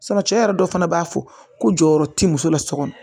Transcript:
cɛ yɛrɛ dɔ fana b'a fɔ ko jɔyɔrɔ ti muso la so kɔnɔ